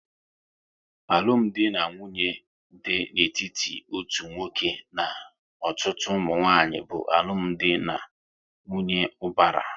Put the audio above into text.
Alụmdi na nwunye dị n'etiti otu nwoke na ọtụtụ ụmụnwanyị bụ alụmdi na nwunye ubara